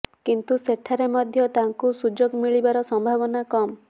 କିନ୍ତୁ ସେଠାରେ ମଧ୍ୟ ତାଙ୍କୁ ସୁଯୋଗ ମିଳିବାର ସମ୍ଭାବନା କମ